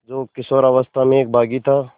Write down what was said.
जो किशोरावस्था में एक बाग़ी था